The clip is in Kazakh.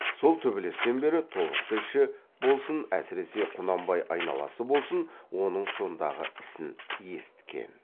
сол төбелестен бері тобықты іші болсын әсіресе құнанбай айналасы болсын оның сондағы ісін есіткен